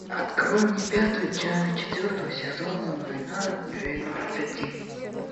открой мне пятую часть четвертого сезона война двенадцати